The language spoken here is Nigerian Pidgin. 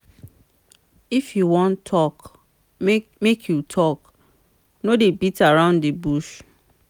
if you wan tok make you tok no dey beat around di bush.